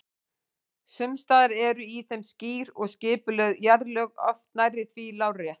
Sums staðar eru í þeim skýr og skipuleg jarðlög, oft nærri því lárétt.